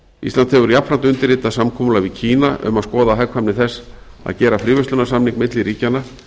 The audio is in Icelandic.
ísland hefur jafnframt undirritað samkomulag við kína um að skoða hagkvæmni þess að gera fríverslunarsamning milli ríkjanna